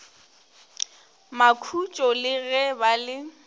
makhutšo le ge ba le